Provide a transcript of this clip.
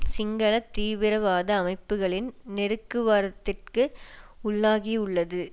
சிங்கள தீவிரவாத அமைப்புக்களின் நெருக்குவரத்துக்கு உள்ளாகியுள்ளது